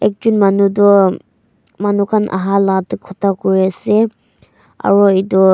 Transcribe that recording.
ekjon manu toh manu khan ahala te kotha kuri ase aro etu--